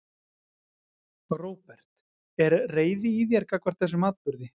Róbert: Er reiði í þér gagnvart þessum atburði?